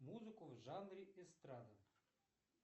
музыку в жанре эстрада